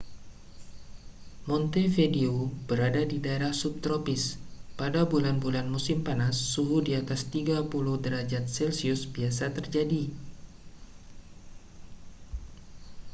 montevideo berada di daerah subtropis; pada bulan-bulan musim panas suhu di atas 30â°c biasa terjadi